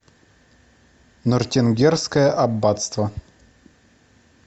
нортенгерское аббатство